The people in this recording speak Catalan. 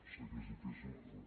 sé que és difícil però